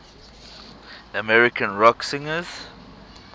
american rock singers